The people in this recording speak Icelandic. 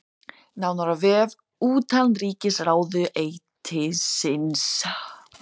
Nánar á vef utanríkisráðuneytisins